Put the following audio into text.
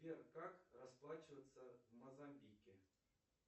сбер как расплачиваться в мозамбике